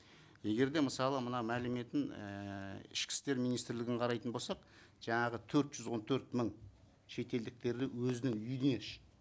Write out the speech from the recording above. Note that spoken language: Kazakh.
егер де мысалы мына мәліметін ііі ішкі істер министрлігін қарайтын болсақ жаңағы төрт жүз он төрт мың шетелдіктерді өзінің үйіне